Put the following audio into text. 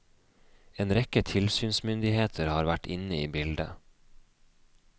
En rekke tilsynsmyndigheter har vært inne i bildet.